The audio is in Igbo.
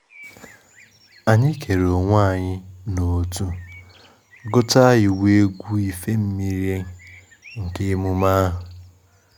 Ụda udu ahụ mere ka a mata na asọmpi ụbọchi uguru amalitela, asọmpi nke gbasara akwụkwọ ndụ agba dị iche iche.